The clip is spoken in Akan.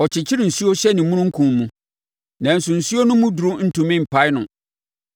Ɔkyekyere nsuo hyɛ ne omununkum mu, nanso nsuo no mu duru ntumi mpae no.